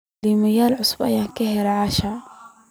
Iimayl cusub ayaan ka helay asha